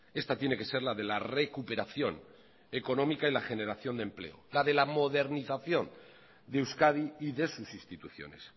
esta tiene que ser la de la recuperación económica y la generación de empleo la de la modernización de euskadi y de sus instituciones